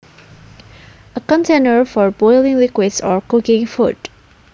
A container for boiling liquids or cooking food